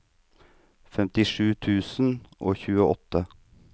femtisju tusen og tjueåtte